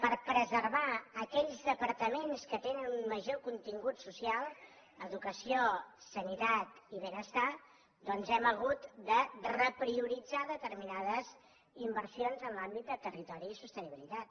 per preservar aquells departaments que tenen un major contingut social educació salut i benestar doncs hem hagut de reprioritzar determinades inversions en l’àmbit de territori i sostenibilitat